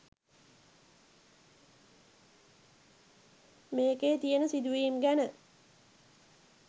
මේකේ තියෙන සිදුවීම් ගැන